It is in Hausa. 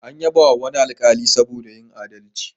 An yabawa wani alkali saboda yin aldalci.